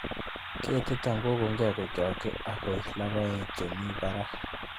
Ketiton kokong'e kochokyin ak koi logoekab chemi barak.